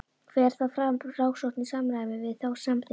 Fer þá fram rannsókn í samræmi við þá samþykkt.